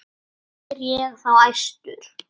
Spyr ég þá æstur.